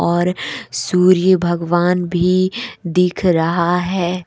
और सूर्य भगवान भी दिख रहा है।